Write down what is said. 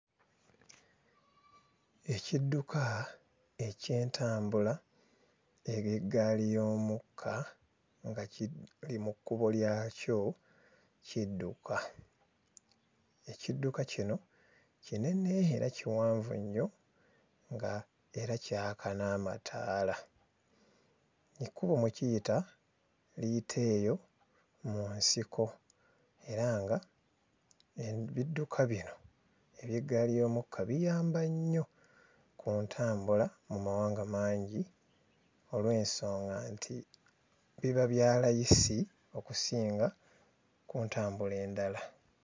Ekidduka eky'entambula ey'eggaali y'omukka nga kiri mu kkubo lyakyo kudduka. Ekidduka kino kinene era kiwanvu nnyo nga era kyaka n'amataala. Ekkubo mwe kiyita liyita eyo mu nsiko era ng'ebidduka bino eby'eggaali y'omukka biyamba nnyo ku ntambula mu mawanga mangi olw'ensonga nti biba bya layisi okusinga ku ntambula endala.